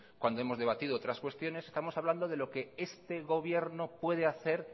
cuando hemos debatido otras cuestiones estamos hablando de lo que este gobierno puede hacer